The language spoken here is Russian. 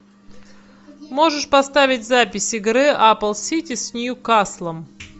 можешь поставить запись игры апл сити с ньюкаслом